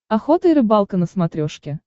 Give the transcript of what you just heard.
охота и рыбалка на смотрешке